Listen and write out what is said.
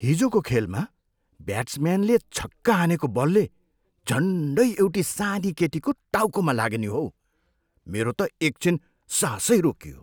हिजोको खेलमा ब्याट्सम्यानले छक्का हानेको बलले झन्डै एउटी सानी केटीको टाउकोमा लाग्यो नि हौ। मेरो त एकछिन सासै रोकियो।